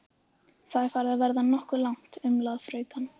Þetta er farið að verða nokkuð langt, umlaði fraukan.